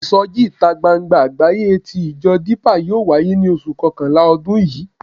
Ìsọjí ìta gbangba àgbáyé tí ìjọ Dípà yóò wáyé ní oṣù kọkànlá ọdún yìí.